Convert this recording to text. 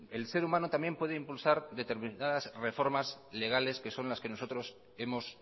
el ser humano también puede impulsar determinadas reformas legales que son las que nosotros hemos